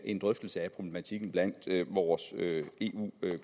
en drøftelse af problematikken blandt vores eu